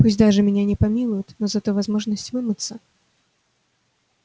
пусть даже меня не помилуют но зато возможность вымыться